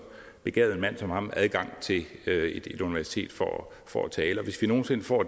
begavet en mand som ham adgang til et universitet for for at tale og hvis vi nogen sinde får